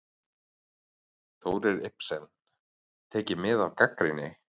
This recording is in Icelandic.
Þórir Ibsen: Tekið mið af gagnrýni?